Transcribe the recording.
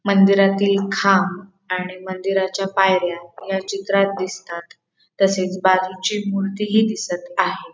मंदिरातील खांब आणि मंदिराच्या पायऱ्या या चित्रात दिसतात तसेच बाजूची मूर्ती हि दिसत आहे.